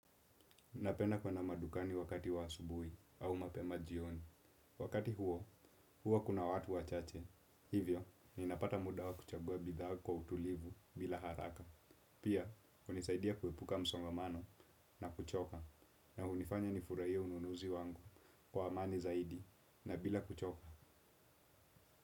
Napenda kwenda madukani wakati wa asubuhi au mapema jioni. Wakati huo, huo kuna watu wa chache. Hivyo, ninapata muda wa kuchagua bidhaa kwa utulivu bila haraka. Pia, hunisaidia kuepuka msongamano na kuchoka. Na hunifanya nifurahie ununuzi wangu kwa amani zaidi na bila kuchoka.